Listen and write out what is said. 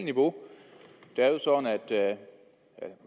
niveau det er jo